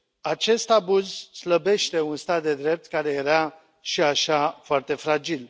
Acest abuz slăbește un stat de drept care era, și așa, foarte fragil.